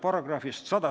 Peeter Ernits, palun!